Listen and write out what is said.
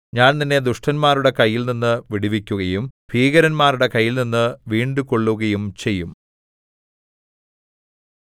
ഞാൻ നിന്നെ ദുഷ്ടന്മാരുടെ കയ്യിൽനിന്ന് വിടുവിക്കുകയും ഭീകരന്മാരുടെ കയ്യിൽനിന്ന് വീണ്ടുകൊള്ളുകയും ചെയ്യും